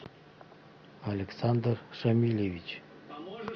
александр шамильевич